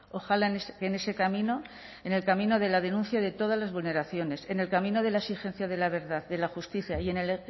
ojalá en ese camino en el camino de la denuncia de todas las vulneraciones en el camino de la exigencia de la verdad de la justicia y en el